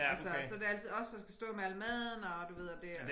Altså så det altid os der skal stå med al maden og du ved at det